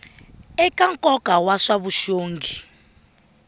eka nkoka wa swa vuxongi